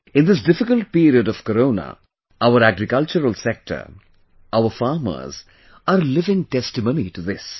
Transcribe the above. In this difficult period of Corona, our agricultural sector, our farmers are a living testimony to this